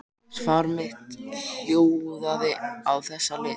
Svar mitt hljóðaði á þessa leið